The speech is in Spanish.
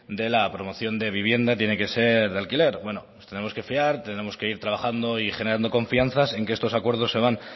de la promoción de vivienda tiene que ser de alquiler bueno pues nos tendremos que fiar tendremos que ir trabajando y generando confianza en que estos acuerdos se van